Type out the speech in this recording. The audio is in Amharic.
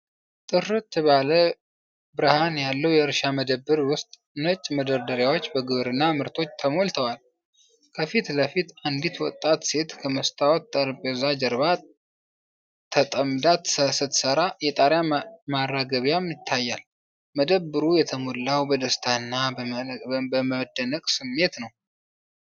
ጥርት ያለ ብርሃን ባለው የእርሻ መደብር ውስጥ፣ ነጭ መደርደሪያዎች በግብርና ምርቶች ተሞልተዋል። ከፊት ለፊት፣ አንዲት ወጣት ሴት ከመስታወት ጠረጴዛው ጀርባ ተጠምዳ ስትሰራ፣ የጣሪያ ማራገቢያም ይታያል። መደብሩ የተሞላው በደስታና በመደነቅ ስሜት ነው።